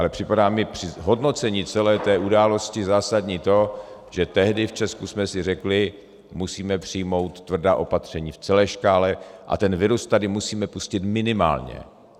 Ale připadá mi při hodnocení celé té události zásadní to, že tehdy v Česku jsme si řekli: musíme přijmout tvrdá opatření v celé škále a ten virus tady musíme pustit minimálně.